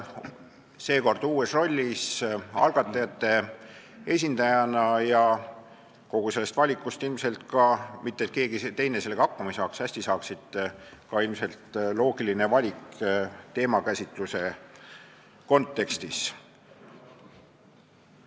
Seekord olen uues rollis, olen siin algatajate esindajana ja kogu sellest algatajate valikust ilmselt ka – mitte et keegi teine sellega hakkama ei saaks, väga hästi saaksid – loogiline valik teemakäsitluse kontekstis.